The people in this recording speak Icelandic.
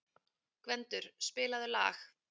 Gvendur, spilaðu lag.